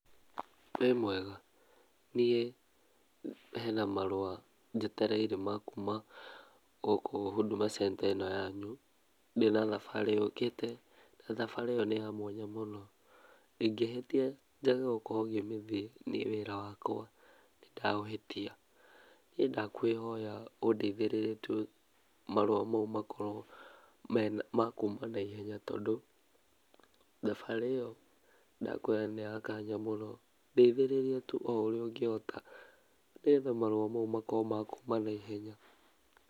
Wĩmwega? Niĩ hena marũa njetereire ma kuma gũkũ Huduma Center ĩno yanyu, ndĩ na thabarĩ yũkĩte na thabarĩ ĩyo nĩ ya mwanya mũno, ingĩhĩtia njage gũkorwo ngĩmĩthiĩ, niĩ wĩra wakwa nĩndaũhĩtia. Niĩ ndakũĩhoya ũndeithĩrĩrie tu marũa mau makorwo ma kuma naihenya tondũ thabarĩ ĩyo ndakũĩra nĩ ya nganja mũno. Ndeithĩrĩria tu o ũrĩa ũngĩhota nĩgetha marũa mau makorwo ma kuma naihenya.